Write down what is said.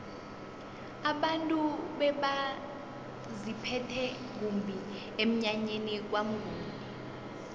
abantu bebaziphethe kumbi emnyanyeni kwamnguni